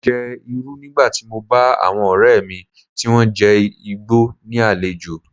Mo jẹ Irú nígbà tí mo bá àwọn ọ̀rẹ́ mi tí wón jẹ́ Ìgbò ní àlejò.